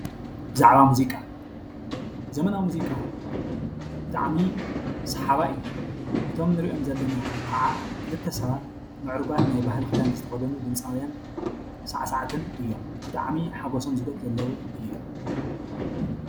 ብዛዕባ ሙዚቃ፦ ዘመናዊ ሙዚቃ ብጣዕሚ ሰሓባይ እዩ። እቶም ንርእዮም ዘለና ከዓ ክልተ ሰባት ምዕሩጋት ናይ ባህሊ ክዳን ዝተከደኑ ድምፃውያን ሳዕሳዕትን እዮም። ብጣዕሚ ሓጎሳም ዝገልፁ ዘለው እዮም።